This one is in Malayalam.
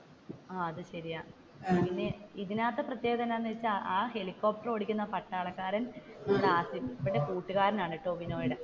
ആഹ് അത് ശരിയാണ് പിന്നെ ഇതിന്റെ അകത്തെ പ്രത്യേകത എന്താണെന്നു വെച്ചാൽ, ആ ഹെലികോപ്റ്റർ ഓടിക്കുന്ന പട്ടാളക്കാരൻ ഇവരുടെ കൂട്ടുകാരൻ ആണ് ടോവിനോയുടെ,